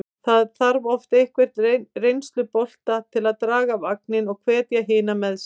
Það þarf oft einhvern reynslubolta til að draga vagninn og hvetja hina með sér.